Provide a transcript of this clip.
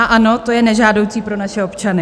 A ano, to je nežádoucí pro naše občany.